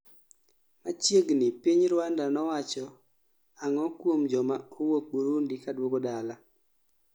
machiegni piny Rwanda nowacho ang'o kuom joma owuok Burundi kaduogo dala?